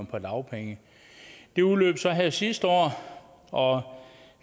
på dagpenge den udløb så her sidste år og